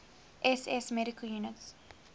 ss medical units